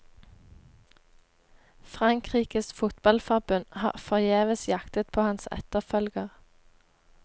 Frankrikes fotballforbund har forgjeves jaktet på hans etterfølger.